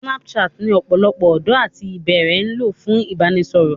Snapchat ni ọ̀pọ̀lọpọ̀ ọ̀dọ́ àti ìpẹ́ẹ̀rẹ̀ ń lò fún ìbánisọ̀rọ̀